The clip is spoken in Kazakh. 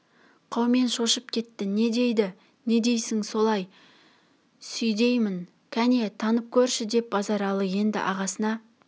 қаумен шошып кетті не дейді не дейсің солай сүйдеймін кәне танып көрші деп базаралы енді ағасына